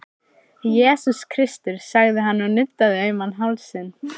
Jesús Kristur, sagði hann og nuddaði auman hálsinn.